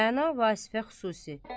Rəna Vasifə xüsusi.